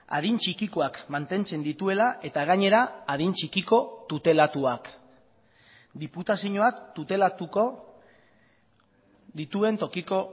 adin txikikoak mantentzen dituela eta gainera adin txikiko tutelatuak diputazioak tutelatuko dituen tokiko